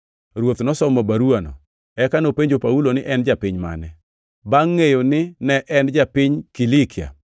Ruoth nosomo baruwano, eka nopenjo Paulo ni en japiny mane. Bangʼ ngʼeyo ni ne en japiny Kilikia,